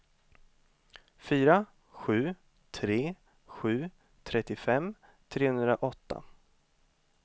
fyra sju tre sju trettiofem trehundraåtta